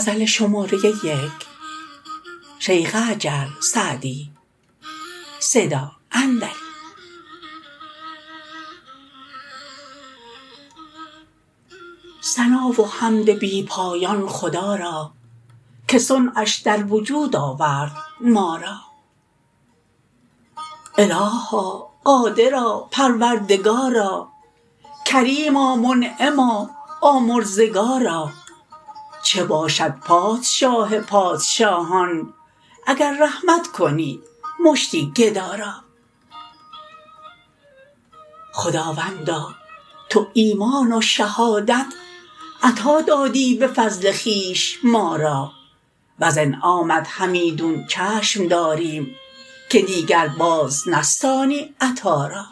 ثنا و حمد بی پایان خدا را که صنعش در وجود آورد ما را الها قادرا پروردگارا کریما منعما آمرزگارا چه باشد پادشاه پادشاهان اگر رحمت کنی مشتی گدا را خداوندا تو ایمان و شهادت عطا دادی به فضل خویش ما را وز انعامت همیدون چشم داریم که دیگر باز نستانی عطا را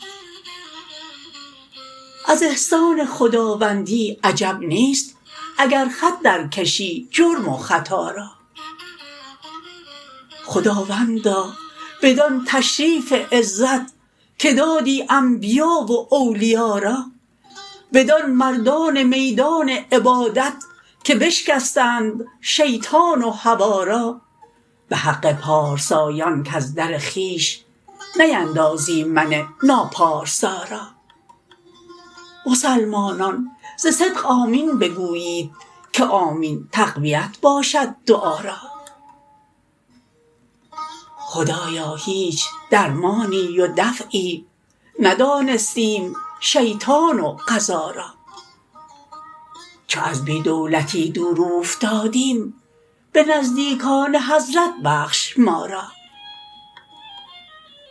از احسان خداوندی عجب نیست اگر خط در کشی جرم و خطا را خداوندا بدان تشریف عزت که دادی انبیا و اولیا را بدان مردان میدان عبادت که بشکستند شیطان و هوا را به حق پارسایان کز در خویش نیندازی من ناپارسا را مسلمانان ز صدق آمین بگویید که آمین تقویت باشد دعا را خدایا هیچ درمانی و دفعی ندانستیم شیطان و قضا را چو از بی دولتی دور اوفتادیم به نزدیکان حضرت بخش ما را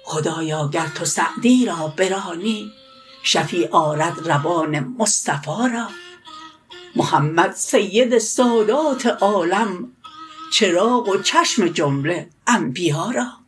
خدایا گر تو سعدی را برانی شفیع آرد روان مصطفی را محمد سید سادات عالم چراغ و چشم جمله انبیا را